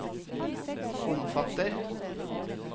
omfatter